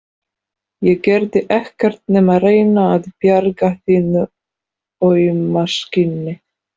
Ég gerði ekkert nema reyna að bjarga þínu auma skinni.